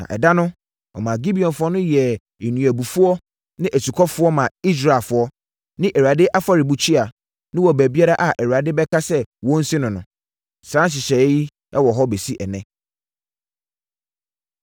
Na ɛda no, ɔmaa Gibeonfoɔ no yɛɛ nnuabufoɔ ne asukɔfoɔ maa Israelfoɔ ne Awurade afɔrebukyia no wɔ baabiara a Awurade bɛka sɛ wɔnsi no no. Saa nhyehyɛeɛ no wɔ hɔ bɛsi ɛnnɛ.